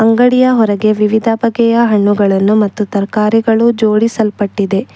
ಅಂಗಡಿಯ ಹೊರಗೆ ವಿವಿಧ ಬಗೆಯ ಹಣ್ಣುಗಳನ್ನು ಮತ್ತು ತರಕಾರಿಗಳು ಜೋಡಿಸಲ್ಪಟ್ಟಿದೆ.